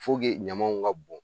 ɲamaw ka bon